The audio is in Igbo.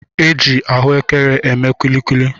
E ji ahụekere eme kuli kuli.